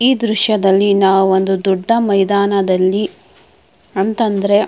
ಈ ದೃಶ್ಯದಲ್ಲಿ ನಾವು ಒಂದು ದೊಡ್ಡ ಮೈದಾನದಲ್ಲಿ ಅಂತ ಅಂದ್ರೆ--